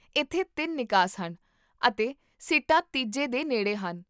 ਇੱਥੇ ਤਿੰਨ ਨਿਕਾਸ ਹਨ, ਅਤੇ ਸੀਟਾਂ ਤੀਜੇ ਦੇ ਨੇੜੇ ਹਨ